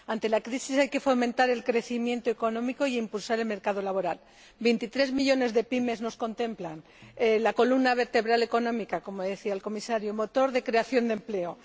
Ante la crisis hay que fomentar el crecimiento económico e impulsar el mercado laboral 23 millones de PYME nos contemplan, son la columna vertebral económica, como decía el Comisario, motor de creación de empleo.